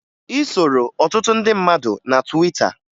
Ị soro ọtụtụ ndị mmadụ na Twita